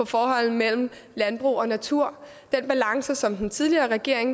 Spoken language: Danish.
forholdet mellem landbrug og natur den balance som den tidligere regering